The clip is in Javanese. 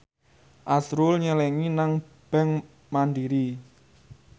azrul nyelengi nang bank mandiri